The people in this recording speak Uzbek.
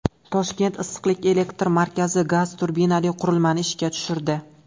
Toshkent issiqlik elektr markazi gaz turbinali qurilmani ishga tushirdi.